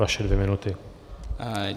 Vaše dvě minuty.